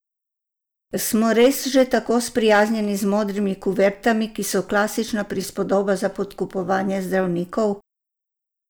Smo res že tako sprijaznjeni z modrimi kuvertami, ki so klasična prispodoba za podkupovanje zdravnikov?